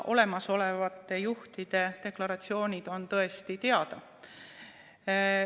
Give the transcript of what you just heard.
Olemasolevate juhtide deklaratsioonid on tõesti teada.